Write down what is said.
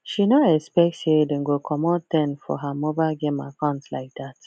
she no expect say dem go comot ten for her mobile game account like that